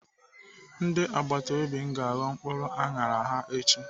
Ndị agbatobi m ga-aghọ mkpụrụ aṅara ha echi.